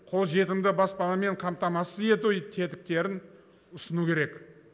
қолжетімді баспанамен қамтамасыз ету тетіктерін ұсыну керек